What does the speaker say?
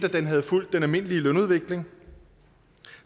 at den havde fulgt den almindelige lønudvikling